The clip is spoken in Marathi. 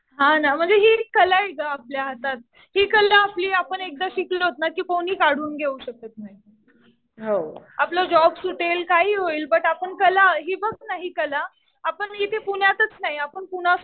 हा ना. म्हणजे हि एक कला आहे गं आपल्या हातात. हि कला आपली आपण एकदा शिकलोत ना कि कोणी काढून घेऊ शकत नाही. आपला जॉब सुटेल. काहीही होईल. बट आपण कला हि बघ ना हि कला आपण इथे पुण्यातच नाही आपण पुणा